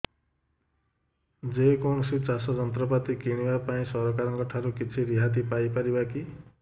ଯେ କୌଣସି ଚାଷ ଯନ୍ତ୍ରପାତି କିଣିବା ପାଇଁ ସରକାରଙ୍କ ଠାରୁ କିଛି ରିହାତି ପାଇ ପାରିବା କି